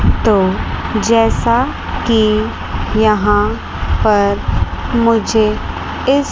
तो जैसा कि यहां पर मुझे इस--